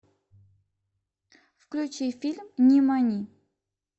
включи фильм нимани